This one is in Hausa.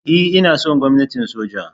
E, ina son gwamnatin soja.